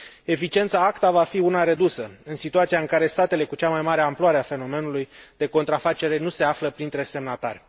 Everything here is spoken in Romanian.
Eficiența ACTA va fi una redusă, în situația în care statele cu cea mai mare amploare a fenomenului de contrafacere nu se află printre semnatari.